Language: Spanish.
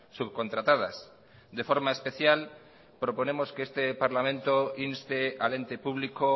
subcontratadas de forma especial proponemos que este parlamento inste al ente público